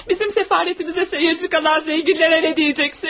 Bizim səfarətimizə seyrçi qalan zənginlərə nə deyəcəksin?